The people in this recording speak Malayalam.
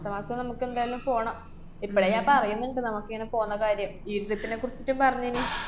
അടുത്ത മാസം നമക്കെന്തായാലും പോണം. ഇപ്പളേ ഞാന്‍ പറയ്ന്ന്ണ്ട് നമക്കിങ്ങനെ പോന്ന കാര്യം. ജീവിതത്തിനെകുറിച്ചിട്ടും പറഞ്ഞേന്